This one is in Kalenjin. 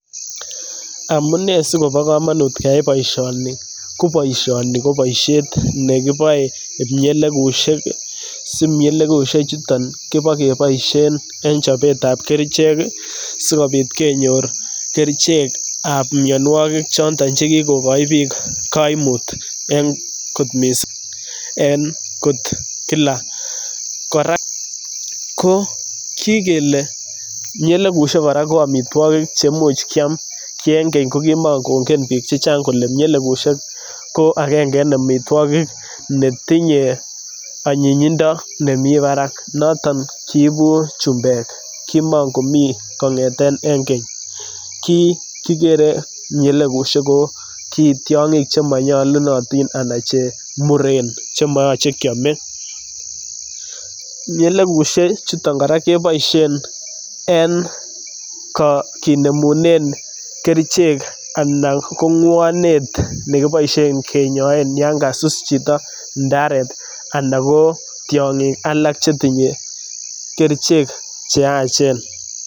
Amunee sikopo komonut keyai boisioni, koboisioni ko boisiet nekiboe kipmielekusiek, sipmielekusiek chuto kipokeboisien en chopetab kerichek sikopit kenyor kerichekab mianwokik choto chekikokoi biik koimut en kot mising en kot kila kora ko kikele ipmielekusiek kora ko amitwokik chemuch kyam ki en keny kokimongongen biik chechang kole ipmielekusiek ko akenge en amitwokik netinye anyinyindo nemi parak noton kiibu chumbek kimongomii kong'eten en keny kikere ipmielekusiekko kitiong'ik chemonyolunoyin anan chemuren chemoyoche kyome, ipmielekusiek chuton kora keboisien en kinemunen kerichek anan ko ngwonet nekeboisien kinyoen yan kasus chito ndaret ana ko tiong'ik ala tiong'ik alak chetinye kerichek cheyachen.